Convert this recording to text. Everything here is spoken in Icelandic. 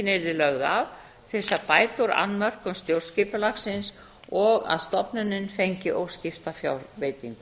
af til að bæta úr annmörkum stjórnskipulagsins og að stofnunin fengi óskipta fjárveitingu